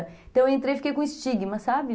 Então eu entrei e fiquei com estigma, sabe?